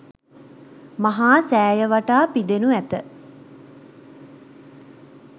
මහා සෑය වටා පිදෙනු ඇත.